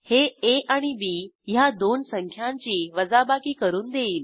हे आ आणि बी ह्या दोन संख्यांची वजाबाकी करून देईल